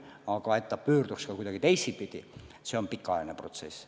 Aga et ta pöörduks kuidagi teistpidi, see on pikaajaline protsess.